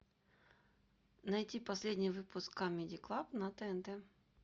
найти последний выпуск камеди клаб на тнт